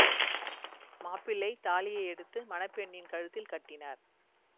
மாப்பிள்ளை தாலியை எடுத்து மண பெண்ணின் கழுத்தில் கட்டினார்